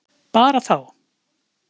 Bara þá.